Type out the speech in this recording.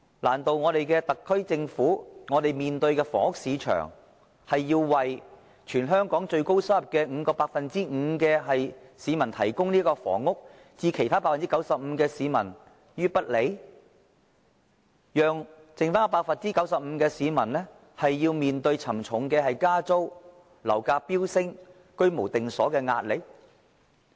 難道對特區政府來說，我們的房屋市場是要為全香港最高收入的 5% 市民提供房屋，而對其他 95% 的市民卻置之不理？讓餘下 95% 的市民面對沉重的加租、樓價飆升、居無定所的壓力？